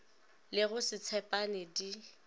le go se tshepane di